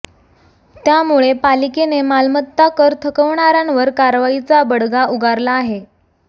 त्यामुळे पालिकेने मालमत्ता कर थकवणाऱ्यांवर कारवाईचा बडगा उगारला आहे